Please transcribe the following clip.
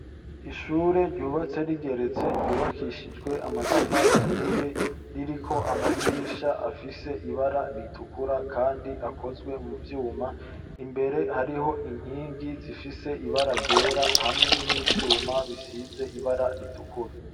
Ishure ryubatse rigeretse ryubakishijwe amatafara aturiye ririko amadirisha afise ibara ritukura, kandi akozwe mu vyuma imbere hariho inkingi zifise ibara ryera hamwe n'ivyuma bisize ibara ritukura.